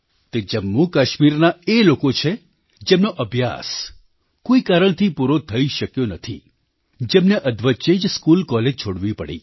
તે જમ્મુકાશ્મીરના એ લોકો છે જેમનો અભ્યાસ કોઈ કારણથી પૂરો થઈ શક્યો નથી જેમને અધવચ્ચે જ સ્કૂલકૉલેજ છોડવી પડી